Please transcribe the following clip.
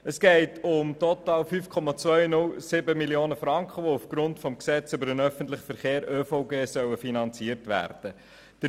Es geht um total 5,207 Mio. Franken, die aufgrund des Gesetzes über den öffentlichen Verkehr (ÖVG) finanziert werden sollen.